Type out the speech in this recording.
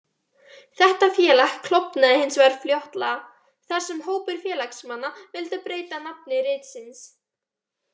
Þetta félag klofnaði hins vegar fljótlega, þar sem hópur félagsmanna vildi breyta nafni ritsins.